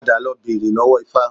Padà lọ bèrè lọ́wó Ifa